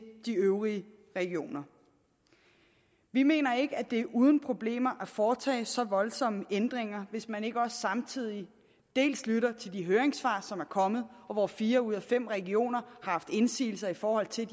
de øvrige regioner vi mener ikke at det er uden problemer at foretage så voldsomme ændringer hvis man ikke også samtidig lytter til de høringssvar som er kommet og hvor fire ud af fem regioner har haft indsigelser i forhold til